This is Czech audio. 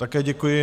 Také děkuji.